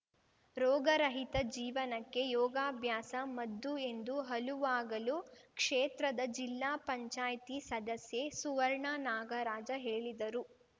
ರೋಗರಹಿತ ಜೀವನಕ್ಕೆ ಯೋಗಭ್ಯಾಸ ಮದ್ದು ಎಂದು ಹಲುವಾಗಲು ಕ್ಷೇತ್ರದ ಜಿಲ್ಲಾ ಪಂಚಾಯ್ತಿ ಸದಸ್ಯೆ ಸುವರ್ಣ ನಾಗರಾಜ ಹೇಳಿದರು